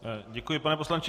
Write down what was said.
Děkuji, pane poslanče.